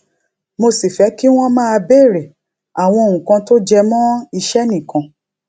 mo sì fé kí wón máa béèrè àwọn nǹkan tó jẹ mó iṣé nìkan